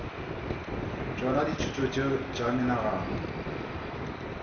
tšona dithuto tšeo tša menagano